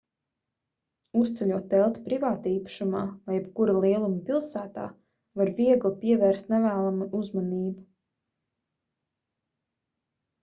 uzceļot telti privātīpašumā vai jebkura lieluma pilsētā var viegli pievērst nevēlamu uzmanību